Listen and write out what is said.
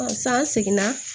san seginna